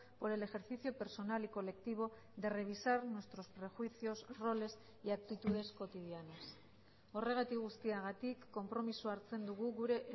por el ejercicio personal y colectivo de revisar nuestros prejuicios roles y actitudes cotidianas horregatik guztiagatik konpromisoa hartzen dugu gure